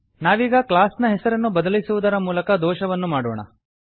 ನಾವೀಗ ಕ್ಲಾಸ್ ನ ಹೆಸರನ್ನು ಬದಲಿಸುವುದರ ಮೂಲಕ ದೋಷವನ್ನು ಮಾಡೋಣ